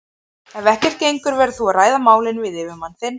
Ef ekkert gengur verður þú að ræða málin við yfirmann þinn.